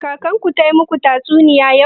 Kakan ku ta maku tatsuniya yau?